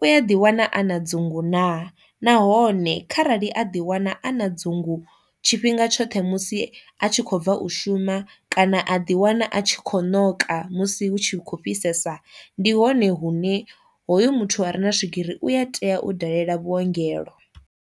u a ḓi wana a na dzingu naa, nahone kharali a ḓi wana a na dzingu tshifhinga tshoṱhe musi a tshi kho bva u shuma kana a ḓi wana a tshi kho noka musi hu tshi khou fhisesa ndi hone hune hoyu muthu a re na swigiri u a tea u dalela vhuongelo.